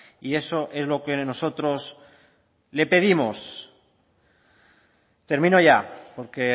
y eso es lo que nosotros le pedimos termino ya porque